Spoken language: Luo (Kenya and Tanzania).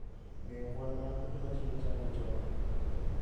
Geng' kwan mar kute machido chami chon